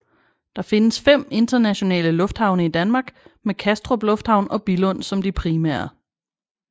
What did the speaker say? Der findes fem internationale lufthavne i Danmark med Kastrup Lufthavn og Billund som de primære